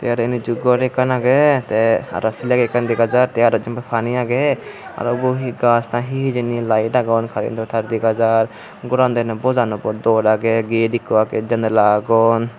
eren hiccu gor ekkan agey te arow fleg ekkan dega jar te arow jenpai pani agey arow ubo hi gach na hi hijeni laet agon karento tar dega jar goran dene bojan okke dol agey get ikko agey janala agon.